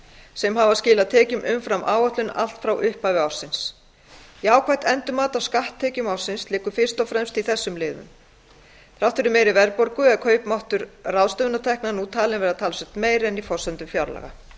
sem hafa skilað tekjum umfram áætlun allt frá upphafi ársins jákvætt endurmat á skatttekjum ársins liggur fyrst og fremst í þessum liðum þrátt fyrir meiri verðbólgu er kaupmáttur ráðstöfunartekna nú talinn verða talsvert meiri en í forsendum fjárlaga